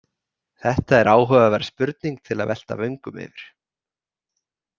Þetta er áhugaverð spurning til að velta vöngum yfir.